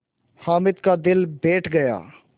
हामिद का दिल बैठ गया